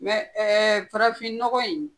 ɛɛ farafinnɔgɔ in